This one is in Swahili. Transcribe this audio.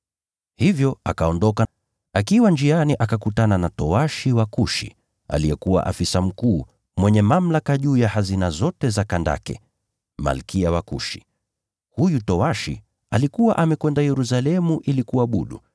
Hivyo akaondoka. Akiwa njiani akakutana na towashi wa Kushi, aliyekuwa afisa mkuu, mwenye mamlaka juu ya hazina zote za Kandake, Malkia wa Kushi. Huyu towashi alikuwa amekwenda Yerusalemu ili kuabudu,